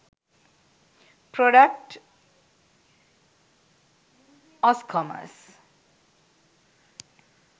product oscommerce